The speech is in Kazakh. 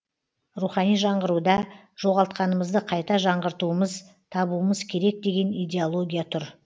рухани жаңғыруда жоғалтқанымызды қайта жаңғартуымыз табуымыз керек деген идеология тұр